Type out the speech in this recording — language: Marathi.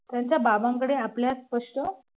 त्यांच्या बाबांकडे आपल्यात स्पष्ट